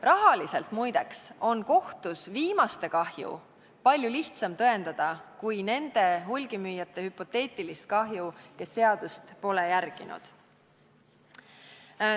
Rahaliselt muide on kohtus viimaste kahju palju lihtsam tõendada kui nende hulgimüüjate hüpoteetilist kahju, kes seadust pole järginud.